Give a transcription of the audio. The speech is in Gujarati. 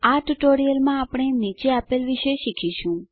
આ ટ્યુટોરીયલમાં આપણે નીચે આપેલ વિશે શીખીશું